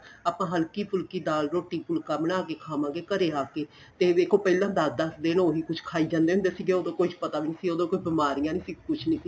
ਆਪਾਂ ਹੱਲਕੀ ਫੁੱਲ੍ਕੀ ਦਾਲ ਰੋਟੀ ਫੁੱਲਕਾ ਬਣਾਕੇ ਖਾਵਾਗੇ ਘਰੇ ਆਕੇ ਤੇ ਵੇਖੋ ਪਹਿਲਾਂ ਦਸ ਦਸ ਦਿਨ ਉਹੀ ਕੁੱਝ ਖਾਈ ਜਾਂਦੇ ਹੁੰਦੇ ਸੀਗੇ ਉਦੋਂ ਕੁੱਝ ਪਤਾ ਵੀ ਨਹੀਂ ਸੀ ਉਦੋਂ ਕੋਈ ਬਿਮਾਰੀਆਂ ਵੀ ਨਹੀਂ ਸੀ ਕੁੱਝ ਵੀ ਨਹੀਂ ਸੀ